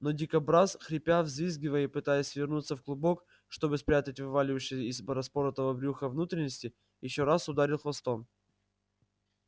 но дикобраз хрипя взвизгивая и пытаясь свернуться в клубок чтобы спрятать вывалившиеся из распоротого брюха внутренности ещё раз ударил хвостом